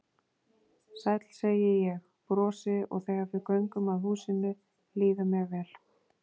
Sæll, segi ég, brosi og þegar við göngum að húsinu líður mér vel.